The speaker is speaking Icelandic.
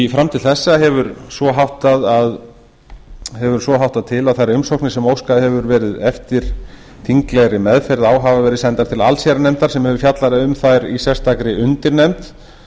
fram til þessa hefur svo háttað til að þær umsóknir sem óskað hefur verið eftir þinglegri meðferð á hafa verið sendar til allsherjarnefndar sem hefur fjallað um þær í sérstakri undirnefnd